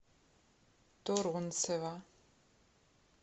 турунцева